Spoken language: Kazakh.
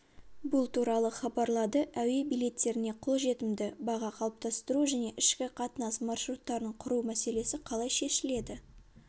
бұл туралы хабарлады әуе билеттеріне қолжетімді баға қалыптастыру және ішкі қатынас маршруттарын құру мәселесі қалай шешіледі